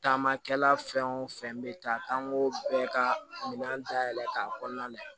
Taamakɛla fɛn o fɛn bɛ taa k'an k'o bɛɛ ka minɛn dayɛlɛ k'a kɔnɔna lajɛ